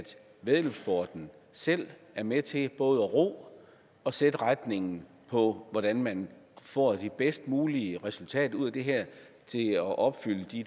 væddeløbssporten selv er med til både at ro og sætte retningen på hvordan man får det bedst mulige resultat ud af det her til at opfylde de